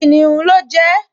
Kìnìún ló jẹ ẹ́